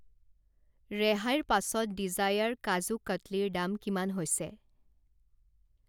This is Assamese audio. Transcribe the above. ৰেহাইৰ পাছত ডিজায়াৰ কাজু কটলীৰ দাম কিমান হৈছে?